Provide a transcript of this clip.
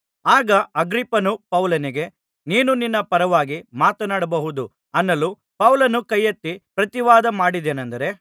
ಆಗ ಅಗ್ರಿಪ್ಪನು ಪೌಲನಿಗೆ ನೀನು ನಿನ್ನ ಪರವಾಗಿ ಮಾತನಾಡಬಹುದು ಅನ್ನಲು ಪೌಲನು ಕೈಯೆತ್ತಿ ಪ್ರತಿವಾದ ಮಾಡಿದ್ದೇನಂದರೆ